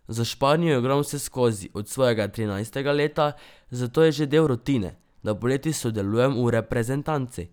Za Španijo igram vseskozi od svojega trinajstega leta, zato je že del rutine, da poleti sodelujem v reprezentanci.